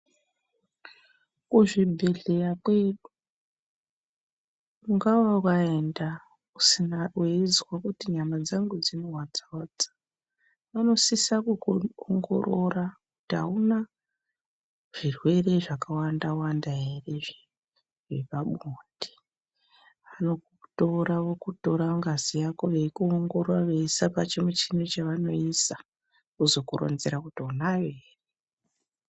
Kuzvibhedhleya kwedu ungava waenda weizwa kuti nyama dzangu dzinohwadza hwadza, vanosisa kukuongorora kuti hauna zvirwere zvakawanda-wanda ere zvepabonde. Vanokutora vokutora ngazi yako, veikuongorora veiisa pachimuchini chavanoisa, vozokuronzera kuti unayo ere.